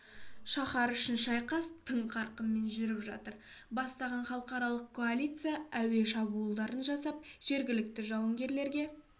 шаһар үшін шайқас тың қарқынмен жүріп жатыр бастаған халықаралық коалиция әуе шабуылдарын жасап жергілікті жауынгерлерге